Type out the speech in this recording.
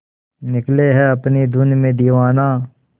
निकले है अपनी धुन में दीवाना